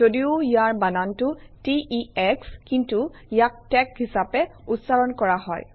যদিও ইয়াৰ বানানটো t e শ্ব কিন্তু ইয়াক টেক হিচাপে উচ্চাৰণ কৰা হয়